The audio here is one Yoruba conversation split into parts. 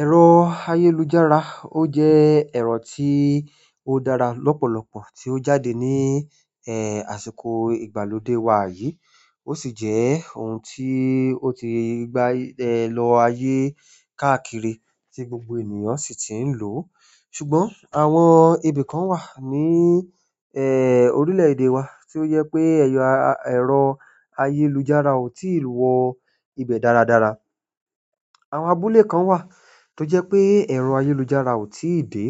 Ẹ̀rọ ayélujára ó jẹ́ ẹ̀rọ tí ó dára lọ́pọ̀lọpọ̀ tí ó jáde ní àsìkò ìgbàlódé wa yìí. Ó sì jẹ́ ohun tí ó ti gba lọ ayé káàkiri tí gbogbo ènìyàn sì ti ń lò. Ṣùgbọ́n àwọn ibi kan wà ní orílẹ̀-èdè wa tí ó jẹ pé ẹrọ ayélujára ò tí ì wọ ibẹ̀ dáradára. Àwọn àbúle kan wà tó jẹ́ pé ẹ̀rọ ayélujára ò tí ì dé,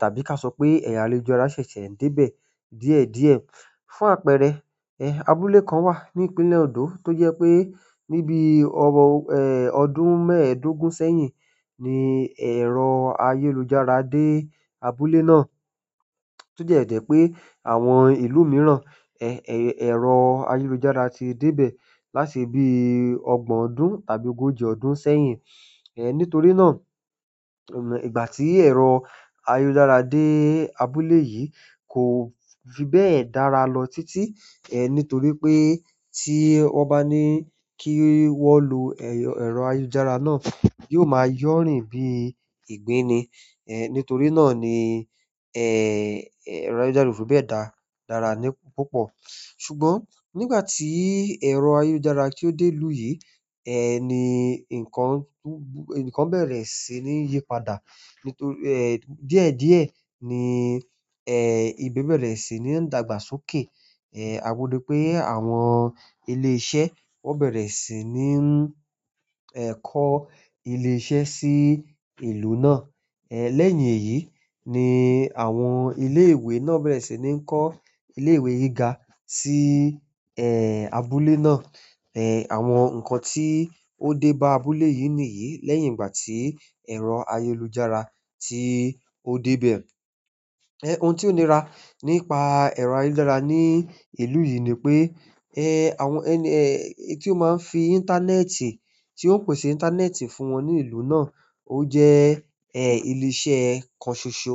tàbí ká sọ pé ẹ̀rọ ayélujára ṣẹ̀ṣẹ̀ ń dé bẹ̀ díẹ̀díẹ̀. Fún àpẹẹrẹ abúlé kan wa ni ìpínlẹ̀ Ondo to jẹ́ pe ni bíi ọdún mẹ́ẹ̀dógún sẹ́yìn ni ẹ̀rọ ayélujára de abúlé na tó dẹ́ jẹ́ pé àwọn ìlú mìíràn ẹ̀rọ ayélujára ti dé bẹ̀ láti ibi ọgbọ̀n ọdún tàbí ogójì ọdún sẹ́yìn. Nítorí náà, ìgbà tí ẹ̀rọ ayélujára dé abúlé yìí kò fi bẹ́ẹ̀ dára lọ títí. Nítorí pé tí wọ́n bá ní kí wọ́n lo ẹ̀rọ ayélujára náà, yóò máa yọ̀rín bí ìgbín ni. Nítorí náà ni ẹ̀rọ ayélujára kò fi bẹ́ẹ̀ dára ní púpọ̀. Ṣùgbọ́n nígbà tí ẹ̀rọ ayélujára tí ó dé ìlú yìí, ni nǹkan bẹ̀rẹ̀ sí ní yípadà. Nítorí díẹ̀díẹ̀ ni ìbẹ̀ bẹ̀rẹ̀ sí ní dàgbàsókè. A rí pé àwọn ilé iṣẹ́ wọ́n bẹ̀rẹ̀ sí ní kọ́ ilé iṣẹ́ sí ìlú náà. Lẹ́yìn èyí ni àwọn ilé ìwé náà bẹ̀rẹ̀ sí ní kọ́ ilé ìwé gíga sí abúlé náà. Àwọn nǹkan tí ó dé bá àbúle yìí nìyí lẹ́yìn ìgbà tí ẹ̀rọ ayélujára tí ó dé bẹ̀. Oun ti o nira nípa ẹ̀rọ ayélujára ni ìlú yi ni pe ohun ti o pese íńtánẹ́ẹ̀tì fún wọ́n ni ìlú náà. Ó jẹ́ ilé iṣẹ́ kan ṣoṣo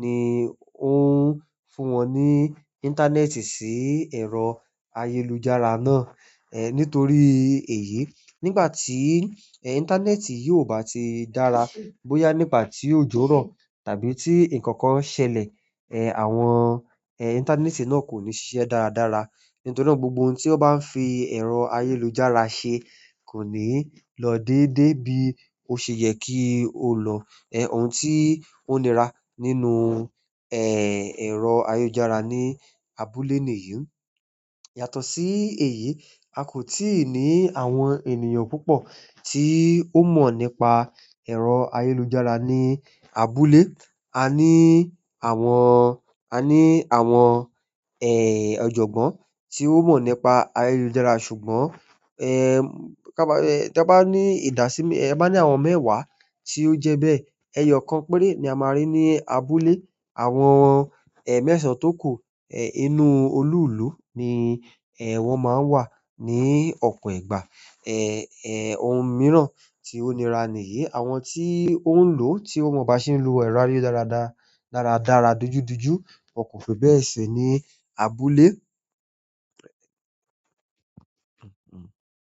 ni ó ń fún wọn ní íńtánẹ́ẹ̀tì sí ẹ̀rọ ayélujára náà. Nítorí èyí, nígbà tí íńtánẹ́ẹ̀tì yìí ò bá ti dára, bóyá nígbàtí ojo rọ tàbí tí ǹkan kan ṣẹlẹ̀. Àwọn íńtánẹ́ẹ̀tì náà kò ni ṣiṣẹ́ dáradáa nítorí náà gbogbo ohun ti wọn ba n fi ẹ̀rọ ayélujára ṣe kò ni lọ déédéé bi o ṣe yẹ ko lọ ohun tí ó nira nínú ẹ̀rọ ayélujára ní abúlé nìyí. Yàtọ̀ sí èyí, a kò tíì ní àwọn ènìyàn púpọ̀ tí ó mọ̀ nípa ẹ̀rọ ayélujára ní abúlé. A ní àwọn, a ní àwọn, ẹ́, ọ̀jọ̀gbọ́n tí ó mọ̀ nípa ayélujára. Ṣùgbọ́n tá bá ní ìdási ta bá ní àwọn mẹ́wàá tí ó jẹ́ bẹ́ẹ̀, ẹyọkan péré ni a máa rí ní abúlé. Àwọn mẹ́sàn-án tó kù inú olúùlú ni wọn máa ń wà ní ọ̀pọ̀ ìgbà. Ohun mìíràn tí ó nira nìyí, àwọn tí ó ń lò tí wọ́n mọ̀ bá ṣe ń lo ẹ̀rọ ayélujára dáradára dojúdójú kò fi bẹ́ẹ̀ si ní abúlé.